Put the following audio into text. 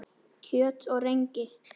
Kjöt og rengi